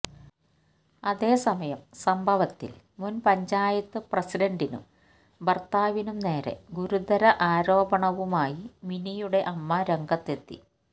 അതേസമയം സംഭവത്തിൽ മുൻപഞ്ചായത്ത് പ്രസിഡന്റിനും ഭർത്താവി നും നേരെ ഗുരുതര ആരോപണവുമായി മിനിയുടെ അമ്മ രംഗത്തെത്തി